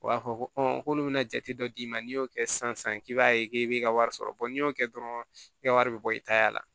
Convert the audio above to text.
U b'a fɔ ko k'olu bɛna jate dɔ d'i ma n'i y'o kɛ sisan k'i b'a ye k'e b'i ka wari sɔrɔ n'i y'o kɛ dɔrɔn i ka wari bɛ bɔ i ta la